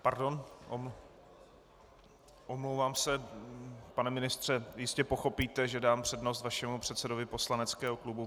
Pardon, omlouvám se, pane ministře, jistě pochopíte, že dám přednost vašemu předsedovi poslaneckého klubu.